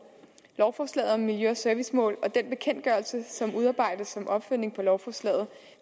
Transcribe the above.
lovforslaget om miljø og servicemål og den bekendtgørelse som udarbejdes som opfølgning på lovforslaget